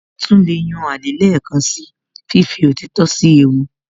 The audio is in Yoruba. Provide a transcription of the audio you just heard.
Ó tún lè yan alẹ́ lẹ́ẹ̀kan síi fífi òtítọ́ sí ewu